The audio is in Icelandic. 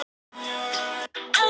Lýðræði er einmitt krafa dagsins.